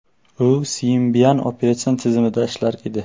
U Symbian operatsion tizimida ishlar edi.